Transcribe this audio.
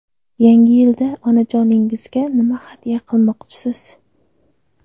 Yangi yilda onajoningizga nima hadya qilmoqchisiz?.